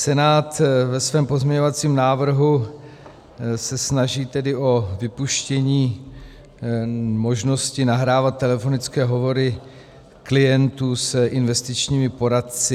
Senát ve svém pozměňovacím návrhu se snaží tedy o vypuštění možnosti nahrávat telefonické hovory klientů s investičními poradci.